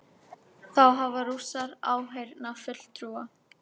Þá hafa Rússar áheyrnarfulltrúa